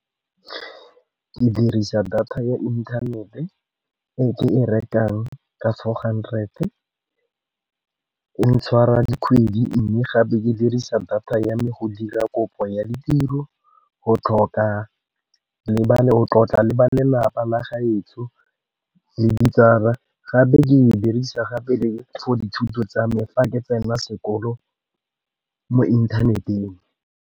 Ke dirisa data ya inthanete e rekang ka four hundred. E ntshwara dikgwedi mme gape ke dirisa data ya me go dira kopo ya ditiro, go tlhoka le go tlotla le ba lelapa la gaetsho le ditsala. Gape ke e dirisa gape le for dithuto tsa me fa ke tsena sekolo mo inthaneteng.